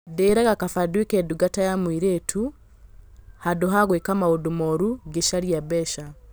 Ndeĩ raga kaba ndũĩ ke ndungata ya mũirĩ tu handũ ha gũĩ ka maũndũ moru ngĩ caria mbeca.